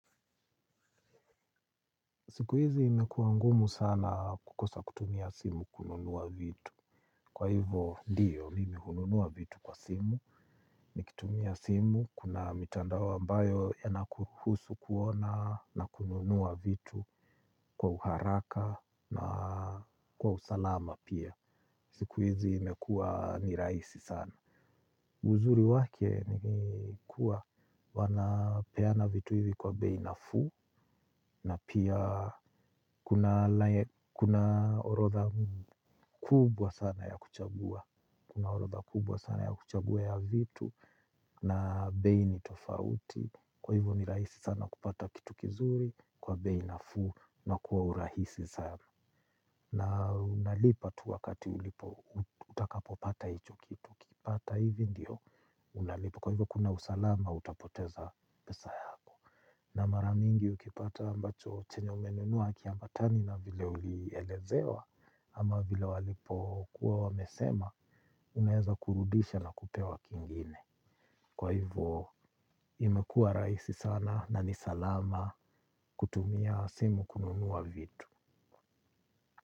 Siku hizi imekua ngumu sana kukosa kutumia simu kununua vitu. Kwa hivyo, ndio, mimi hununua vitu kwa simu. Nikitumia simu, kuna mitandao ambayo yanakuruhusu kuona na kununua vitu kwa uharaka na kwa usalama pia. Siku hizi imekuwa ni rahisi sana. Uzuri wake ni kuwa wanapeana vitu hivi kwa bei nafuu na pia kuna orodha kubwa sana ya kuchagua orodha kubwa sana ya kuchagua ya vitu na bei ni tofauti kwa hivyo ni rahisi sana kupata kitu kizuri kwa bei nafuu na kwa urahisi sana. Na unalipa tu wakati ulipo utakapo pata hicho kitu. Ukipata hivi ndio unalipa. Kwa hivyo kuna usalama hauta poteza pesa yako. Na mara mingi ukipata ambacho chenye umenunua hakiambatani na vile ulielezewa ama vile walipo kuwa wamesema unaweza kurudisha na kupewa kingine. Kwa hivyo imekua rahisi sana na ni salama kutumia simu kununua vitu.